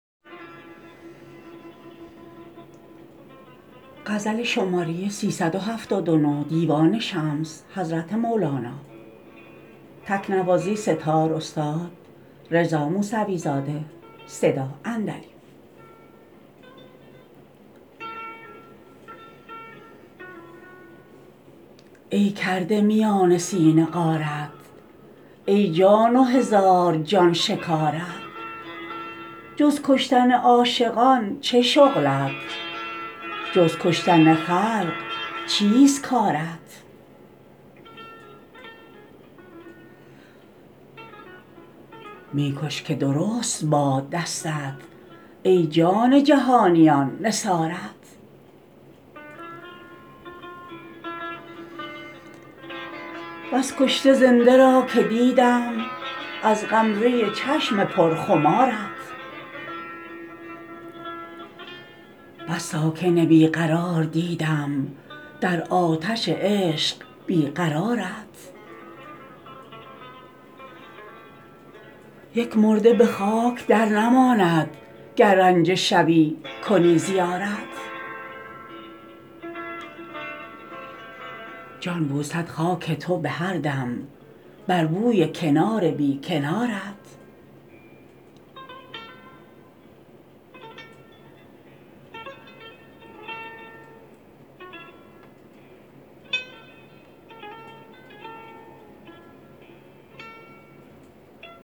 ای کرده میان سینه غارت ای جان و هزار جان شکارت جز کشتن عاشقان چه شغلت جز کشتن خلق چیست کارت می کش که درست باد دستت ای جان جهانیان نثارت بس کشته زنده را که دیدم از غمزه چشم پرخمارت بس ساکن بی قرار دیدم در آتش عشق بی قرارت یک مرده به خاک درنماند گر رنجه شوی کنی زیارت جان بوسد خاک تو به هر دم بر بوی کنار بی کنارت